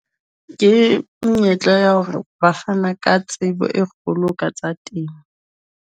Ke monyetla ya hore ba fana ka tsebo e kgolo ka tsa temo.